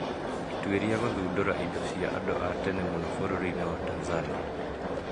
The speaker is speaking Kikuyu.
Atuĩria kũthundũra indo cia andũ a tene mũno bũrũri-inĩ wa Tanzania